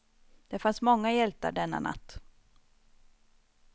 Det fanns många hjältar denna natt.